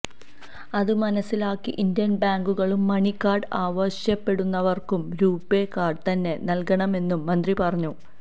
അത് മനസിലാക്കി ഇന്ത്യൻ ബാങ്കുകളും മണി കാർഡ് ആവശ്യപ്പെടുന്നവർക്ക് രുപേ കാർഡ് തന്നെ നൽകണമെന്നും മന്ത്രി പറഞ്ഞു